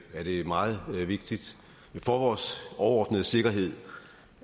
er det meget vigtigt for vores overordnede sikkerhed